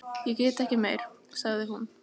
Ég get ekki meir, sagði hún.